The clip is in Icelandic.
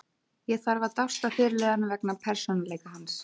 Ég þarf að dást að fyrirliðanum vegna persónuleika hans.